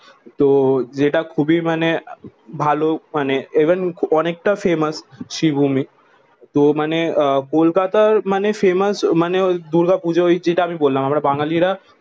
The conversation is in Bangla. তো যেটা খুবই মানে ভালো মানে ইভেন অনেকটা ফেমাস শ্রীভূমি। তো মানে আহ কলকাতার মানে ফেমাস মানে দুর্গাপূজা যেটা আমি বললাম। আমরা বাঙালিরা